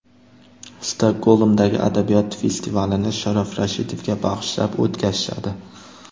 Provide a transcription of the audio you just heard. Stokgolmdagi adabiyot festivalini Sharof Rashidovga bag‘ishlab o‘tkazishadi.